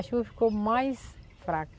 A chuva ficou mais fraca.